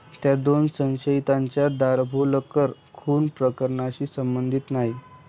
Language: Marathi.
त्या' दोन संशयितांचा दाभोलकर खून प्रकरणाशी संबंध नाही!